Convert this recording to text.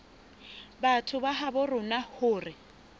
batho ba habo rona hore